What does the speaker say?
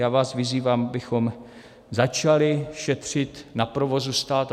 Já vás vyzývám, abychom začali šetřit na provozu státu.